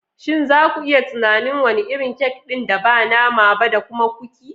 Shin za ku iya tunanin wani irin kek ɗin da ba na nama ba da kuma kuki?